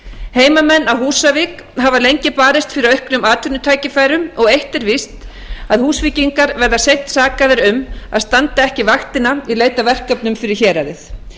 heimamenn á húsavík hafa lengi barist fyrir auknum atvinnutækifærum og eitt er víst að húsvíkingar verða seint sakaðir um að standa ekki vaktina í leit að verkefnum fyrir héraðið